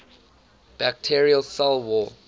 bacterial cell wall